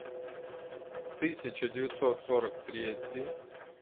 тысяча девятьсот сорок третий